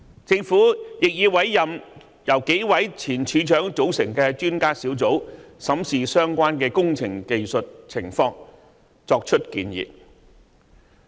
政府亦已委任由數位前署長組成的專家小組，審視相關工程的技術情況，作出建議。